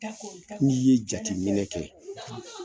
Ni ye jateminɛ kɛ